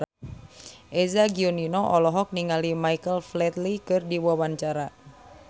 Eza Gionino olohok ningali Michael Flatley keur diwawancara